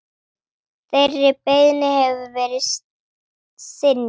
Þeirri beiðni hefur verið synjað.